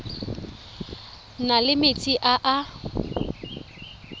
na le metsi a a